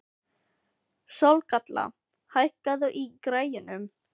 Sólkatla, hækkaðu í græjunum.